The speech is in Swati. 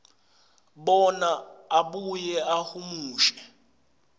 bona abuye ahumushe